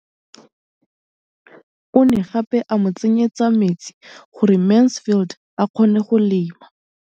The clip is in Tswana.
O ne gape a mo tsenyetsa metsi gore Mansfield a kgone go lema.